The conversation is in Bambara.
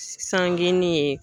Sangenin ye.